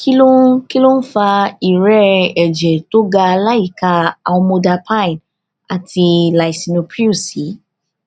kí ló ń kí ló ń fa ìrẹẹ ẹjẹ tó ga láìka amlodipine àti lisinopril sí